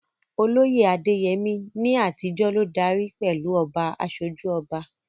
Olóyè Adeyemi, ní àtijọ́, ló darí pẹ̀lú "Oba Asoju Oba."